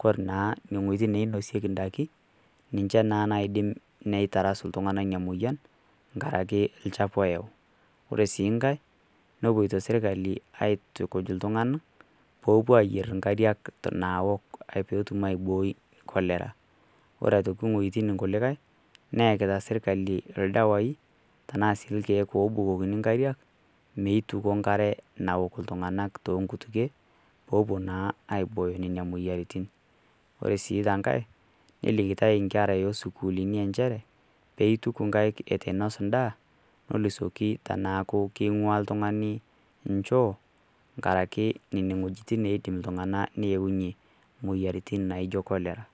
kor naa inwuetin nainosieki indaikin ninche naa naidim neitarasu iltung'ana emoyian enkaraki olchafu oyau, ore sii nkai, nepuoita sirkali aitukuj iltung'ana oopuo ayier inkariak naok pee etum aibooi cholera. Kore aitoki inwuetin kulikai neakita serkari ildawai, tanaa sii ilkeek oobukokini inkariak neituko inkariak naok iltung'ana tonkutukie oopuo naa aiboyo nana moyiaritin. Ore sii tenkai, nelikitai inkera o sukuulini enchere peituku inkaik eitu einos enda nidol esioki ajo keingua oltung'ani inchoo enkaraki Nena wuejitin naa etum oltung'ani neunye imoyaritin naijo cholera.